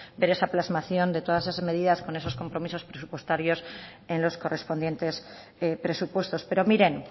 ver esa plasmación de todas esas medidas con esos compromisos presupuestarios en los correspondientes presupuestos pero miren